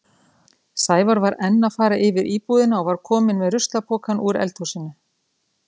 Sævar var enn að fara yfir íbúðina og var kominn með ruslapokann úr eldhúsinu.